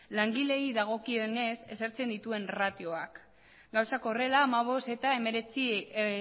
langileei dagokionez ezartzen dituen ratioak gauzak horrela hamabost eta hemeretzi